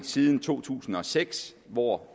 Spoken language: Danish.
siden to tusind og seks hvor